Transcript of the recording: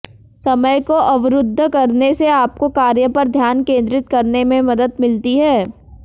समय को अवरुद्ध करने से आपको कार्य पर ध्यान केंद्रित करने में मदद मिलती है